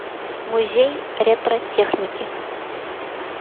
музей ретро техники